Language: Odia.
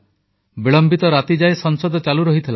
ବିଳମ୍ବିତ ରାତିଯାଏ ସଂସଦ ଚାଲୁ ରହିଥିଲା